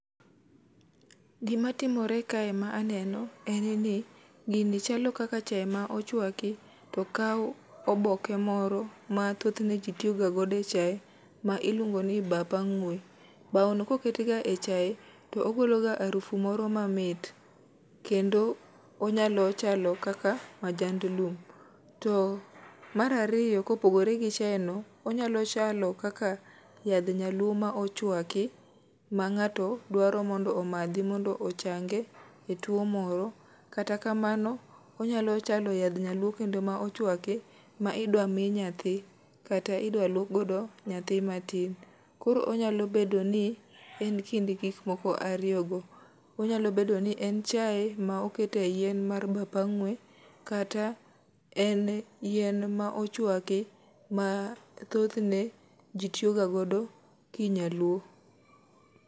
Gima timore kae ma aneno en ni gini chalo kaka chae ma ochwaki, to okao oboke moro ma thothne ji tiyoga godo e chae ma iluongo ni bap ang'we. Bao no koket ga e chae to ogolo harufu moro mamit, kendo onyalo chalo kaka majand lum. To mar ariyo kopogore gi chae no, onyalo chalo kaka yadh nyaluo ma ochwaki ma ngáto dwaro mondo omadhi, mondo ochange e two moro. Kata kamano onyalo chalo yadh nyaluo kendo ma ochwaki ma idwa mi nyathi kata idwa luok godo nyathi mati. Koro onyalo bedo ni, en kind gik moko ariyo go. Onyalo bedo ni en chae ma okete yien mar bap ang'we, kata en yien ma ochwaki ma thothne ji tiyogagodo ki nyaluo.